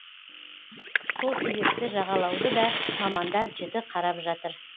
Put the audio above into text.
сол себепті жағалауды да мамандар жіті қарап жатыр